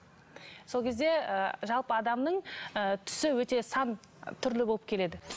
сол кезде ы жалпы адамның ы түсі өте сан түрлі болып келеді